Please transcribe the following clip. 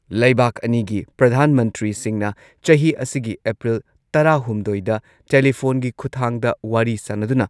ꯂꯩꯕꯥꯥꯛ ꯑꯅꯤꯒꯤ ꯄ꯭ꯔꯙꯥꯟ ꯃꯟꯇ꯭ꯔꯤꯁꯤꯡꯅ ꯆꯍꯤ ꯑꯁꯤꯒꯤ ꯑꯦꯄ꯭ꯔꯤꯜ ꯇꯔꯥꯍꯨꯝꯗꯣꯏꯗ ꯇꯦꯂꯤꯐꯣꯟꯒꯤ ꯈꯨꯊꯥꯡꯗ ꯋꯥꯔꯤ ꯁꯥꯟꯅꯗꯨꯅ